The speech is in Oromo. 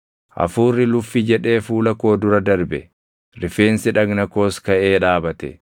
Hafuurri luffi jedhee fuula koo dura darbe; rifeensi dhagna koos kaʼee dhaabate.